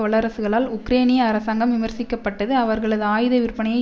வல்லரசுகளால் உக்ரேனிய அரசாங்கம் விமர்சிக்க பட்டது அவர்களது ஆயுத விற்பனையை